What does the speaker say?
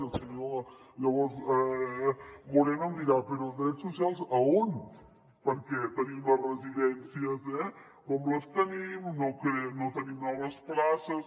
i el senyor llavors moreno em dirà però drets socials a on perquè tenim les residències com les tenim no tenim noves places